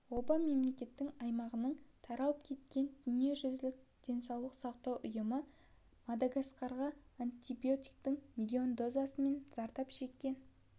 оба мемлекеттің аймағының таралып кеткен дүниежүзілік денсаулық сақтау ұйымы мадагаскарға антибиотиктің млн дозасы мен зардап